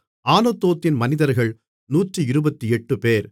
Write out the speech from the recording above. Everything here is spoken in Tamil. ஆனதோத்தின் மனிதர்கள் 128 பேர்